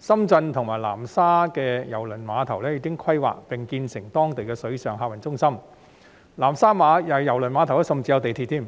深圳和南沙的郵輪碼頭已經規劃並建成當地的水上客運中心，南沙郵輪碼頭甚至有地鐵。